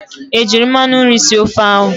Ejiiri mmanụ nri sie ofe ahụ?